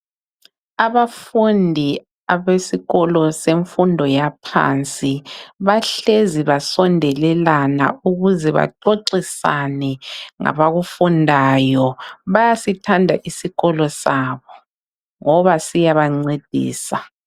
Abafundi abesikolo semfundo yaphansi bahlezi basondelelana ukuze baxoxisane ngabakufundayo. Bayasithanda isikolo sabo ngoba siyabncedisa.